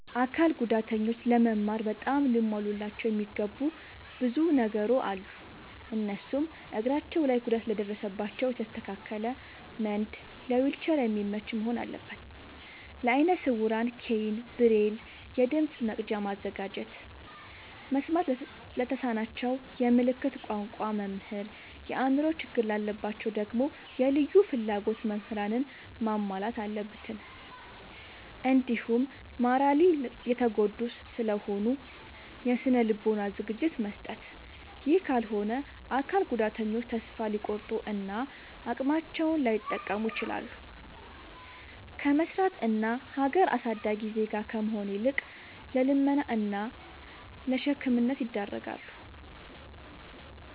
አካል ጉዳተኞች ለመማር በጣም ሊሟሉላቸው የሚገቡ ብዙ ነገሮ አሉ። እነሱም፦ እግራቸው ላይ ጉዳት ለደረሰባቸው የተስተካከለ መንድ ለዊልቸር የሚመች መሆን አለበት። ለአይነ ስውራን ኬይን፣ ብሬል፤ የድምፅ መቅጃ ማዘጋጀት፤ መስማት ለተሳናቸው የምልክት ቋንቋ መምህር፤ የአእምሮ ችግር ላለባቸው ደግሞ የልዩ ፍላጎት ምህራንን ማሟላት አለብትን። እንዲሁም ማራሊ የተጎዱ ስለሆኑ የስነ ልቦና ዝግጅት መስጠት። ይህ ካልሆነ አካል ጉዳተኞች ተሰፋ ሊቆርጡ እና አቅማቸውን ላይጠቀሙ ይችላሉ። ከመስራት እና ሀገር አሳዳጊ ዜጋ ከመሆን ይልቅ ለልመና እና ለሸክምነት ይዳረጋሉ።